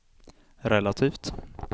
relativt